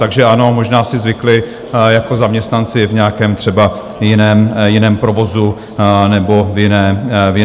Takže ano, možná si zvykli jako zaměstnanci v nějakém třeba jiném provozu nebo v jiné práci.